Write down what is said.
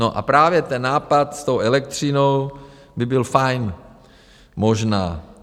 No a právě ten nápad s tou elektřinou by byl fajn, možná.